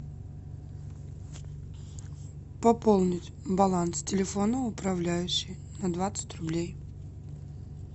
пополнить баланс телефона управляющей на двадцать рублей